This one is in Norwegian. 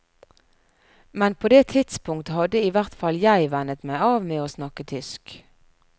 Men på det tidspunkt hadde i hvert fall jeg vennet meg av med å snakke tysk.